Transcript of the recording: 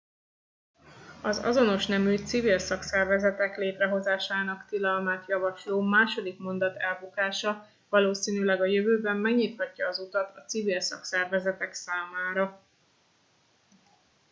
az azonos nemű civil szakszervezetek létrehozásának tilalmát javasló második mondat elbukása valószínűleg a jövőben megnyithatja az utat a civil szakszervezetek számára